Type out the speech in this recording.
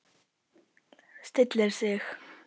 Stillir sig.